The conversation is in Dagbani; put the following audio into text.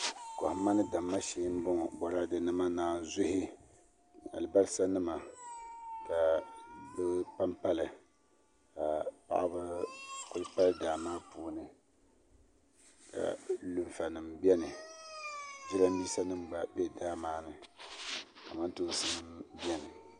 Kohamma ni damma shee n boŋo boraadɛ nima naazuhi alibarisa nima ka bi panpali ka paɣaba ku pali daa maa puuni ka lunfa nim biɛni jiranbiisa nim gba bɛ daa maa ni kamantoosi nim biɛni